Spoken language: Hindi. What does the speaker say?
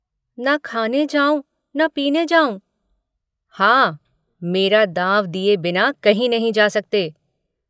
न खाने जाऊँ न पीने जाऊँ। हाँ, मेरा दाँव दिए बिना कहीं नहीं जा सकते।